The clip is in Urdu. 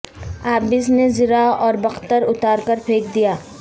عابس نے زرہ اور بکتر اتار کر پھینک دیا